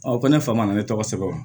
ko ne fa ma na ne tɔgɔ sɛbɛn wa